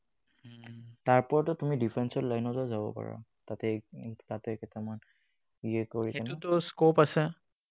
তাৰ ওপৰতো তুমি different line তো যাব পাৰা। তাতে, তাতে কেইটামান